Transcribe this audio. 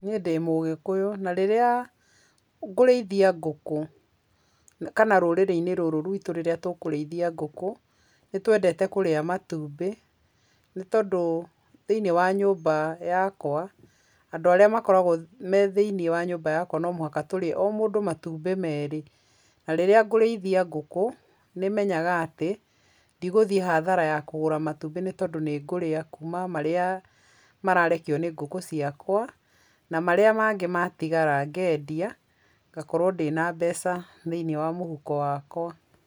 Niĩ ndĩ mũgĩkũyũ, na rĩrĩa ngũrĩithia ngũkũ kana rũrĩrĩ-inĩ rũrũ rwitũ rĩrĩa tũkũrĩithia ngũkũ, nĩtwendete kũrĩa matumbĩ, nĩ tondũ thĩiniĩ wa nyũmba yakwa andũ arĩa makoragwa me thĩiniĩ wa nyũmba yakwa no mũhaka tũrĩe o mũndũ matumbĩ merĩ na rĩrĩa ngũrĩithia ngũkũ nĩmenyaga atĩ, ndigũthiĩ athara ya kũgũra matumbĩ nĩ tondũ nĩngũria kũma marĩa mararekio nĩ ngũkũ ciakwa, na marĩa mangĩ matigara ngendia ngakorwo ndĩna mbeca thĩiniĩ wa mũhuko wakwa.